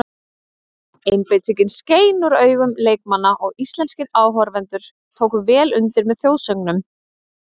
Einbeitingin skein úr augun leikmanna og íslenskir áhorfendur tóku vel undir með þjóðsöngnum.